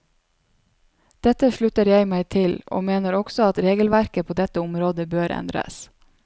Dette slutter jeg meg til, og mener også at regelverket på dette området bør endres.